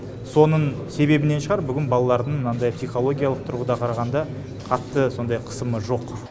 соның себебінен шығар бүгін балалардың мынандай психологиялық тұрғыдан қарағанда қатты сондай қысымы жоқ